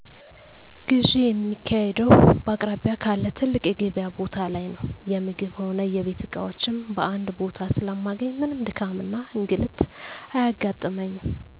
ግዢ የማካሂደው በአቅራቢያ ካለ ትልቅ የገቢያ ቦታ ላይ ነው። የምግብ ሆነ የቤት እቃዎችን በአንድ ቦታ ስለማገኝ ምንም ድካምና እንግልት አያጋጥመኝ።